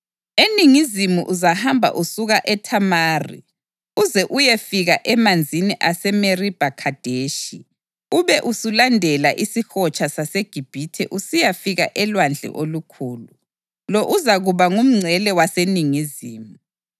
Eningizimu uzahamba usuka eThamari uze uyefika emanzini aseMeribha Khadeshi, ube usulandela iSihotsha saseGibhithe usiyafika eLwandle Olukhulu. Lo uzakuba ngumngcele waseningizimu.